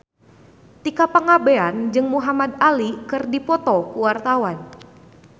Tika Pangabean jeung Muhamad Ali keur dipoto ku wartawan